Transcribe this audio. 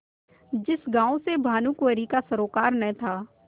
जिस गॉँव से भानुकुँवरि का सरोवार न था